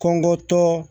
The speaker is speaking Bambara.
Kɔngɔtɔ